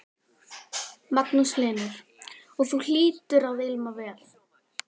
Magnús Hlynur: Og þú hlýtur að ilma vel?